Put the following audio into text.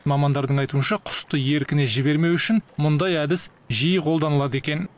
мамандардың айтуынша құсты еркіне жібермеу үшін мұндай әдіс жиі қолданылады екен